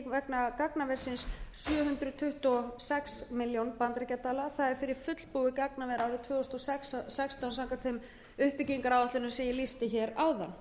vegna gagnaversins sjö hundruð tuttugu og sex milljónir bandaríkjadala það er fyrir fullbúið gagnaver árið tvö þúsund og sextán samkvæmt þeim uppbyggingaráætlunum sem ég lýsti hér áðan